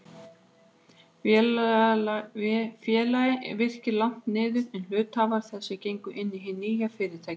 Félagið Virkir lagt niður, en hluthafar þess gengu inn í hið nýja fyrirtæki.